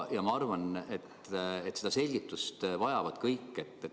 Ma arvan, et seda selgitust vajavad kõik.